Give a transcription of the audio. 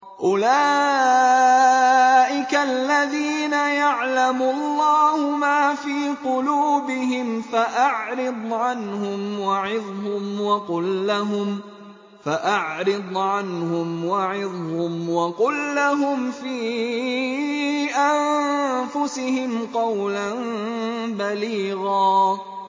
أُولَٰئِكَ الَّذِينَ يَعْلَمُ اللَّهُ مَا فِي قُلُوبِهِمْ فَأَعْرِضْ عَنْهُمْ وَعِظْهُمْ وَقُل لَّهُمْ فِي أَنفُسِهِمْ قَوْلًا بَلِيغًا